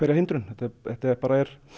hindrun þetta er bara